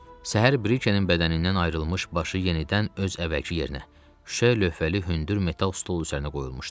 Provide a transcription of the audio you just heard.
Səhər Brikenin bədənindən ayrılmış başı yenidən öz əvvəlki yerinə, şüşə lövhəli hündür metal stol üzərinə qoyulmuşdu.